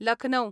Lucknow